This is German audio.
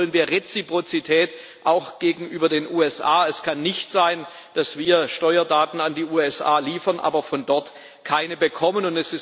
Hier wollen wir Reziprozität auch gegenüber den USA. Es kann nicht sein, dass wir Steuerdaten an die USA liefern, aber von dort keine bekommen.